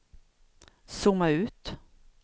zooma ut